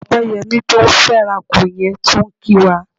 Ọpẹ́yẹmí tó ń fẹ́rakù yẹn tún ń kí wa.